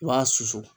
I b'a susu